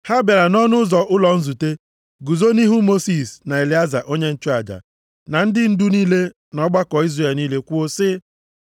nʼọnụ ụzọ ụlọ nzute, guzo nʼihu Mosis, na Elieza onye nchụaja, na ndị ndu niile na ọgbakọ Izrel niile kwuo sị,